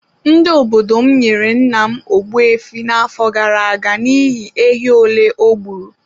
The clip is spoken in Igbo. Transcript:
Ndị obodo m nyere nna m Ogbu efi n’afọ gara aga n’ihi ehi ole o gburu.